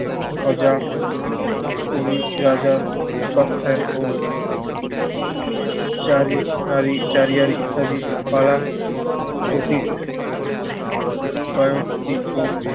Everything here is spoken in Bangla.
প্রজা ওই রাজার উপাখ্যান ও চারী~ চারী~ চারিয়ার ইত্যাদি তারা ওকে কয়েকটি ও